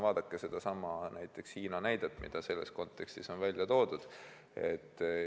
Vaadake sedasama Hiina näidet, mida selles kontekstis on välja toodud.